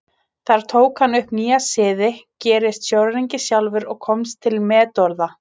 Þar tók hann upp nýja siði, gerist sjóræningi sjálfur og komst til metorða.